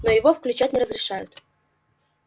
но его включать не разрешают